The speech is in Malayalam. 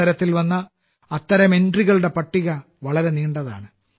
മത്സരത്തിൽ വന്ന അത്തരം എൻട്രികളുടെ പട്ടിക വളരെ നീണ്ടതാണ്